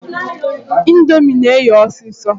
Indomie na-eghe ọsịsọ.